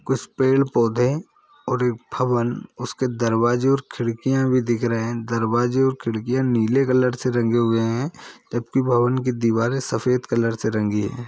कुछ पेड़ पौधे और एक भवन उसके दरवाजे और खिड़किया भी दिख रहे है दरवाजे और खिड़किया नीले कलर से रंगे हुए है जबकी भवन की दीवारे सफेद कलर से रंगी है।